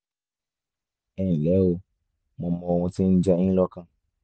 ẹ nlẹ́ o mo mọ ohun tó ń jẹ yín lọ́kàn